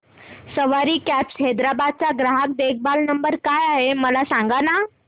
सवारी cabs Hyderabad चा ग्राहक देखभाल नंबर काय आहे मला सांगाना